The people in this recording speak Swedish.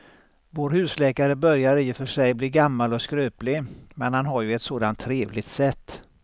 Vår husläkare börjar i och för sig bli gammal och skröplig, men han har ju ett sådant trevligt sätt!